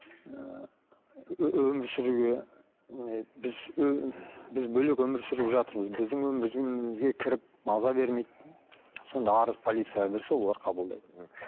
ы өмір сүруге ы біз біз бөлек өмір сүріп жатырмыз біздің өмір өмірімізге кіріп маза бермейді сонда арыз полицияға берсе олар қабылдайды мхм